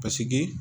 Paseke